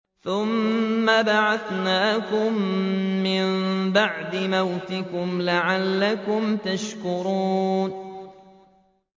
ثُمَّ بَعَثْنَاكُم مِّن بَعْدِ مَوْتِكُمْ لَعَلَّكُمْ تَشْكُرُونَ